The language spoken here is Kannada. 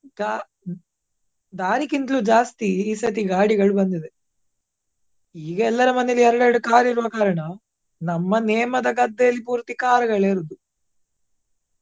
ದಾ~ ದಾರಿಕ್ಕಿಂತ್ಲು ಜಾಸ್ತಿ ಈ ಸರ್ತಿ ಗಾಡಿಗಳು ಬಂದಿದೆ. ಈಗ ಎಲ್ಲರ ಮನೆಯಲ್ಲಿ ಎರಡ್ ಎರಡ್ car ಇರುವ ಕಾರಣ ನಮ್ಮ ನೇಮ ದ ಗದ್ದೆಯಲ್ಲಿ ಪೂರ್ತಿ car ಗಳೇ ಇರುದು.